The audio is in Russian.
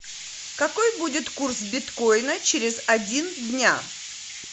какой будет курс биткоина через один дня